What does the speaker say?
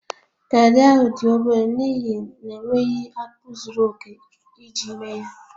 Garri ahụ dị obere n'ihi na enweghị akpu zuru oke iji mee ya